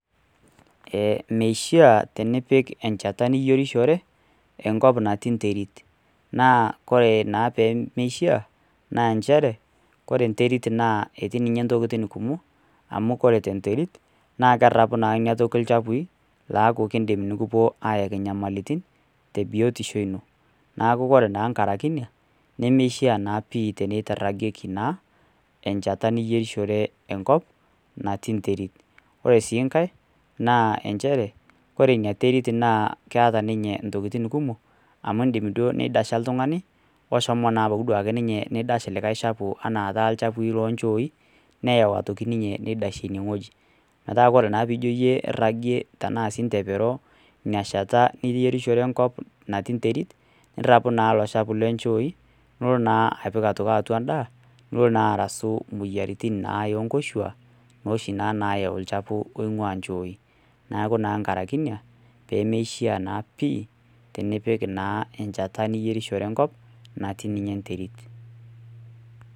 Meishaa tenipik encheta niyierishore enkop natii enterit. Naa ore naa pemeishaa, naa nchere, ore enterit etii ninye intokitin kumok, amu ore tenterit, naa kerapu naa ina toki inchafui, laaku keidim nekipuo aayaki iinyamalitin, te biotisho ino. Neaku naa ore enkaraki ina, nemeishaa naa pii teneiragieki naa encheta niyierishore enkop natii enterit. Ore sii enkai na nchere, ore ina terit naa keta ninye i tokitin kumok, amu indim duo neidasha oltung'ani, oshomo naa anapu ninye eneidash olikai chafu anaa taa olchafu anaa taa ilchafui loonhooi, neyau aiitoki ninye neidashie ine wueji. Metaa ore naa pee ijo iyie iragoe anaa intepero ina sheta niyierishore enkop natii enterit, nirapu naa io cchafui loonchooi, nilo naa aitoki apik atua endaa, nelo naa arasu ioyiaritin oonkoshua, nooshi naa nayau olchafu oing'ua inchooi. Neaku naa enkaraki ina, pemeeishaa naa pii, tenipik naa encheta niyierishore enkop, natii niinye enterit.